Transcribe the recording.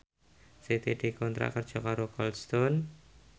Siti dikontrak kerja karo Cold Stone